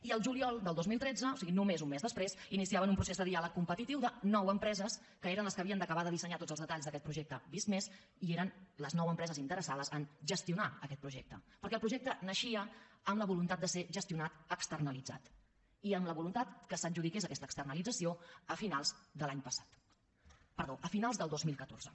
i al juliol del dos mil tretze o sigui només un mes després iniciaven un procés de diàleg competitiu de nou empreses que eren les que havien d’acabar de dissenyar tots els detalls d’aquest projecte visc+ i eren les nou empreses interessades a gestionar aquest projecte perquè el projecte naixia amb la voluntat de ser gestionat externalitzat i amb la voluntat que s’adjudiqués aquesta externalització a finals del dos mil catorze